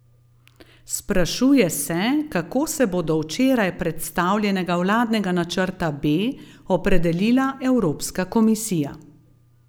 Sprašuje se, kako se bo do včeraj predstavljenega vladnega načrta B opredelila Evropska komisija.